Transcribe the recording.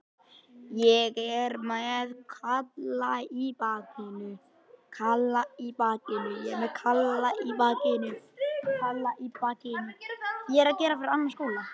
Klippimyndirnar fékk ég stundarfjórðungi fyrir opnun.